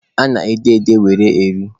A na-ede ede were eri